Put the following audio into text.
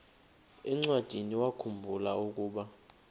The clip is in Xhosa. encwadiniwakhu mbula ukuba